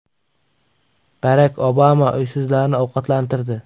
Barak Obama uysizlarni ovqatlantirdi .